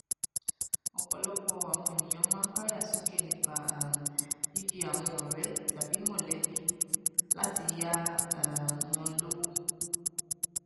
ọpọlọpọ àwọn ènìyàn máa n káyà sókè nípa um bíbi àwọn ọrẹ tàbí mọlẹbí láti yá um wọn lówó